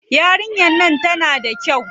Yarinyar nan tana da kyau.